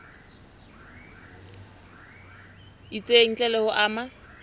itseng ntle le ho ama